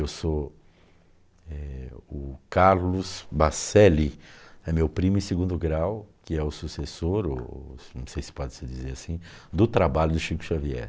Eu sou eh, o Carlos Baccelli, é meu primo em segundo grau, que é o sucessor, o, não sei se pode se dizer assim, do trabalho do Chico Xavier.